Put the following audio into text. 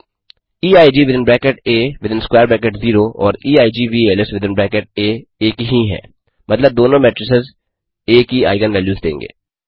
EIG within bracket ah within square bracket 0 और equals within bracket ah एक ही हैं मतलब दोनों मेट्रिक्स आ Aकी आइगन वैल्यूज़ देंगे